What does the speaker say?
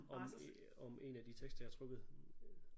Om øh om en af de tekster jeg havde trukket